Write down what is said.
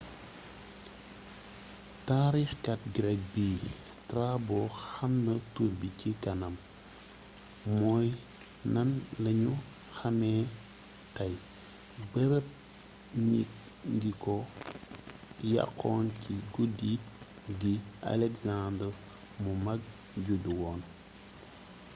taarixkat greek bi strabo waxna turbi ci kanam mooy nan lañu xamé tay bërëb ñi ngi ko yaxxon ci guddi gi alexander mu mag judduwoon